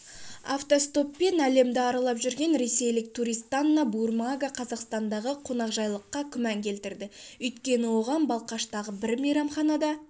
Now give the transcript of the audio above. автостоппен әлемді аралап жүрген ресейлік туристанна бурмага қазақстандағы қонақжайлыққа күмән келтірді өйткені оған балқаштағы бір мейрамханада